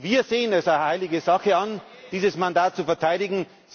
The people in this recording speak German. Wir sehen es als heilige Sache an, dieses Mandat zu verteidigen.